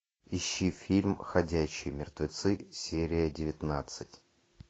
ищи фильм ходячие мертвецы серия девятнадцать